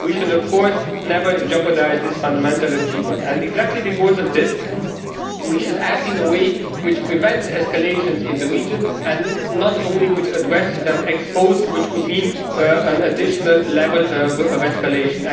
We should of course never jeopardise this fundamental achievement. Precisely because of this, we should act in a way which prevents escalation in the region and not only addresses it, which would mean an additional level of escalation.